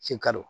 Sikaro